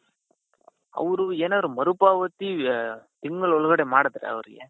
ಅವ್ರು ಏನಾದ್ರು ಮರು ಪಾವತಿ ತಿಂಗಳ ಒಳಗೆ ಮಾಡುದ್ರೆ ಅವರ್ಗೆ